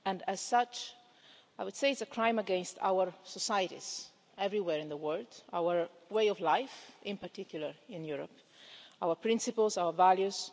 As such, I would say it is a crime against our societies everywhere in the world, our way of life, in particular in Europe, our principles and our values.